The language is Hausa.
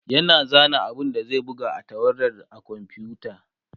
yana zana abun da zai buga a takardar a komfuta